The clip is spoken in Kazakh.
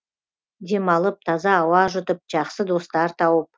демалып таза ауа жұтып жақсы достар тауып